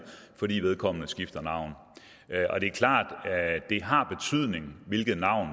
fordi vedkommende har skiftet navn og det er klart at det har betydning hvilket navn